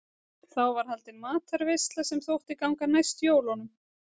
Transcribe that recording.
þá var haldin matarveisla sem þótti ganga næst jólunum